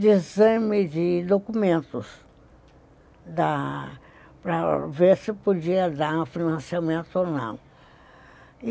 de exame de documentos dá, para ver se podia dar um financiamento ou não.